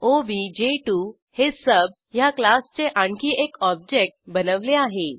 ओबीजे2 हे सुब ह्या क्लासचे आणखी एक ऑब्जेक्ट बनवले आहे